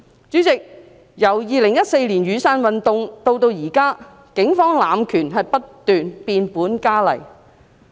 主席，由2014年雨傘運動至今，警方濫權不斷變本加厲。